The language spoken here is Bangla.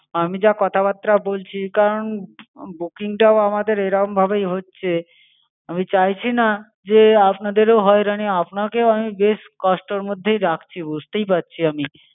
আমি যা কথাবার্তা বলছি, কারণ booking টাও আমাদের এরমভাবেই হচ্ছে। আমি চাইছি না, যে আপনাদেরও হয়রানি হোক। আপনাকেও আমি বেশ কষ্টের মধ্যেই রাখছি। বুঝতেই পাড়ছি আমি।